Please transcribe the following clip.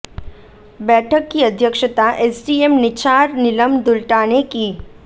बैठक की अध्यक्षता एसडीएम निचार नीलम दुल्टा ने की